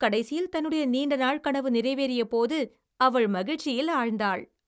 கடைசியில் தன்னுடைய நீண்ட நாள் கனவு நிறைவேறியபோது அவள் மகிழ்ச்சியில் ஆழ்ந்தாள்.